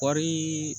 Kɔɔri